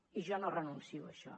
i jo no renuncio a això